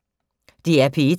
DR P1